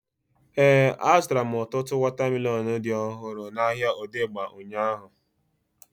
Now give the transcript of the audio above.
Éè, a zụtara m ọtụtụ wọta melọnu dị ọhụrụ n'ahia Odegba ụnyaahụ